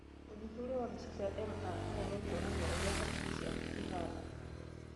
ũthuthuria wa mbica ya MRI nĩũkuonania ũrĩa hakiri ciaku ihana